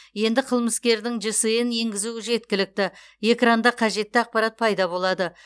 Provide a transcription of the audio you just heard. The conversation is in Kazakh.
енді қылмыскердің жсн енгізу жеткілікті экранда қажетті ақпарат пайда болады